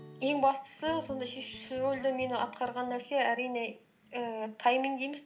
ең бастысы сондай атқарған нәрсе әрине ііі тайминг дейміз